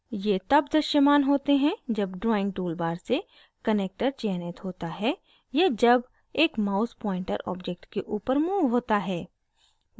ये तब दृश्यमान होते हैं जब drawing toolbar से connector चयनित होता है या जब एक mouse pointer object के ऊपर moved होता है